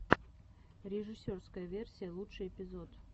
режиссерская версия лучший эпизод